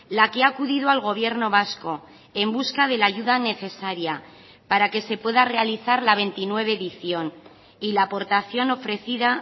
la que ha acudido al gobierno vasco en busca de la ayuda necesaria para que se pueda realizar la veintinueve edición y la aportación ofrecida